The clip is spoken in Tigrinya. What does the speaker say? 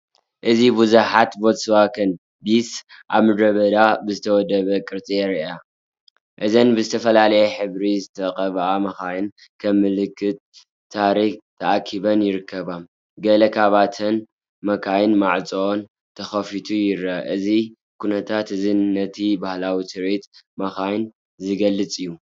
እዚ ብዙሓት ቮልክስዋገን ቢትልስ ኣብ ምድረበዳ ብዝተወደበ ቅርጺ ይረኣያ። እዘን ብዝተፈላለየ ሕብሪ ዝተቐብኣ መካይን፡ ከም ምልክት ታሪኽ ተኣኪበን ይርከባ። ገለ ካብተን መካይን ማዕጾአን ተኸፊተን ይረኣያ። እዚ ኩነታት እዚ ነቲ ባህላዊ ትርኢት መካይን ዝገልጽ እዩ።